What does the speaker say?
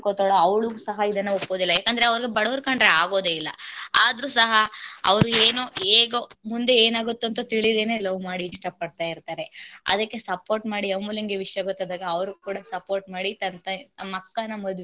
ಏನ್ ಅನ್ಕೊಂತಾಳೋ ಅವಳು ಸಹ ಇದುನ್ನ ಒಪ್ಪೋದಿಲ್ಲ ಯಾಕಂದ್ರೆ ಅವಳಿಗೆ ಬಡವರ ಕಂಡರೆ ಆಗೋದೇ ಇಲ್ಲ ಆದ್ರೂ ಸಹ ಅವರು ಏನು ಹೇಗೋ ಮುಂದೆ ಏನಾಗುತ್ತೆ ಅಂತ ತಿಳಿದೆನೆ love ಮಾಡಿ ಇಷ್ಟ ಪಡ್ತ ಇರ್ತಾರೆ ಆದಿಕ್ಕೆ support ಮಾಡಿ ಅಮೂಲ್ಯಗೇ ವಿಷ್ಯ ಗೊತ್ತಾದಾಗ ಅವರು ಕೂಡ support ಮಾಡಿ ತನ್ನ ತಂಗಿ ತನ್ನ.